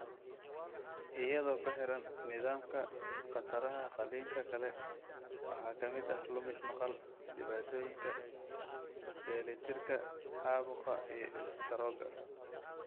Iyadoo ku xiran nidaamka, khataraha qalliinka kale waxaa ka mid ah lumis maqal, dhibaatooyinka dheelitirka, caabuqa, iyo istaroogga.